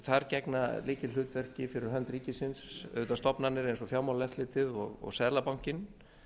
þar gegna lykilhlutverki fyrir hönd ríkisins stofnanir eins og fjármálaeftirlitið og seðlabankinn